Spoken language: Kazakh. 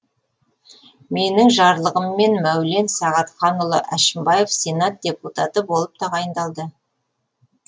менің жарлығыммен мәулен сағатханұлы әшімбаев сенат депутаты болып тағайындалды